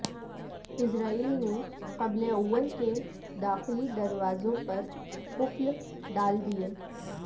اسرائیل نے قبلہ اول کے داخلی دروازوں پر قفل ڈال دیے